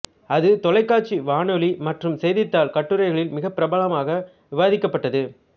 அது தொலைக்காட்சி வானொலி மற்றும் செய்தித்தாள் கட்டுரைகளில் மிகப் பரவலாக விவாதிக்கப்பட்டது